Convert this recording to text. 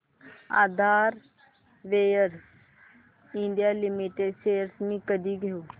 आधार ventures India limited shares मी कधी घेऊ